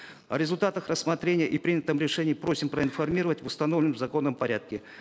о результатах рассмотрения и принятом решении просим проинформировать в установленном законом порядке